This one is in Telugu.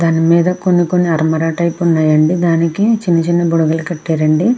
దాని మిద కొని కొని అలర టైపు ఉనది అండి దానికీ చైనా చైనా బోడగలు కటారు అండి.